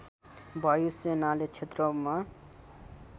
वायु सेनाले क्षेत्रमा